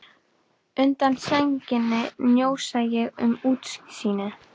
Undan sænginni njósna ég um útsýnið.